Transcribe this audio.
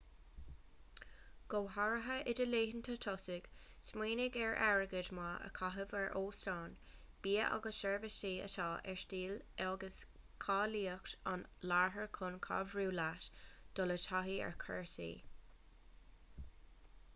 go háirithe i do laethanta tosaigh smaoinigh ar airgead maith a chaitheamh ar óstáin bia agus seirbhísí atá ar stíl agus cáilíocht an iarthair chun cabhrú leat dul i dtaithí ar chúrsaí